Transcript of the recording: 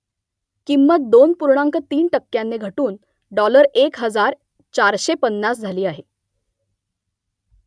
किंमत दोन पूर्णांक तीन टक्क्यांनी घटून डॉलर एक हजार चारशे पन्नास झाली आहे